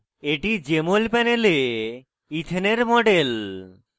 এটি jmol panel ইথেনের model